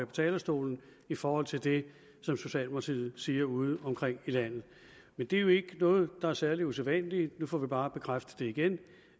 talerstolen i forhold til det som socialdemokratiet siger ude omkring i landet men det er jo ikke noget der er særlig usædvanligt nu får vi bare bekræftet igen